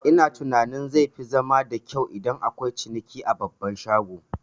Ina tunanin zai fi zama da kyau idan akwai ciniki a babban shago